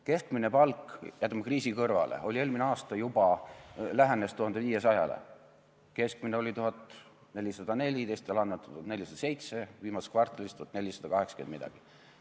Keskmine palk – jätame kriisi kõrvale – eelmine aasta lähenes juba 1500-le, keskmine oli 1404, teistel andmetel oli see 1407, viimases kvartalis 1480 ja midagi.